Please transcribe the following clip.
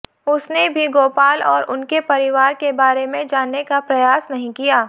उसने भी गोपाल और उनके परिवार के बारे में जानने का प्रयास नहीं किया